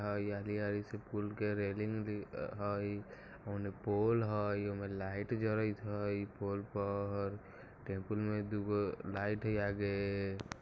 ई हरी-हरी पुल से रेलिंग दिखाई उने पोल हई ओय में लाइट जरत हई